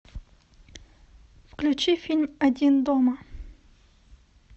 включи фильм один дома